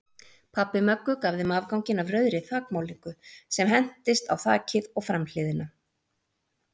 Pabbi Möggu gaf þeim afganginn af rauðri þakmálningu sem entist á þakið og framhliðina.